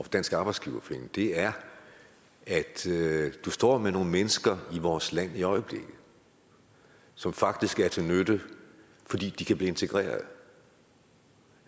dansk arbejdsgiverforening er at vi står med nogle mennesker i vores land i øjeblikket som faktisk er til nytte fordi de kan blive integreret